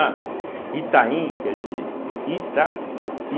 Ah, Itaim quer dizer Ita i.